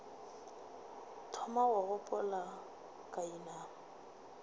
thoma go gopola ka inama